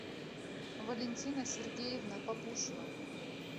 валентина сергеевна папушина